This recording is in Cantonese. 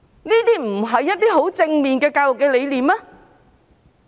這不是甚為正面的教育理念嗎？